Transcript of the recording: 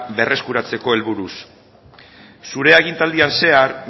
berreskuratzeko helburuz zure agintaldian zehar